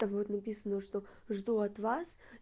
там будет написано что жду от вас